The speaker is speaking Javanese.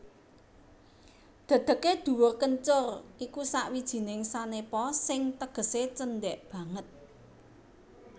Dedegé dhuwur kencur iku sawijining sanepa sing tegesé cendhek banget